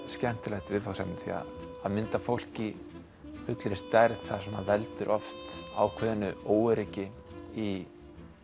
skemmtilegt viðfangsefni því að mynda fólk í fullri stærð það veldur oft ákveðnu óöryggi í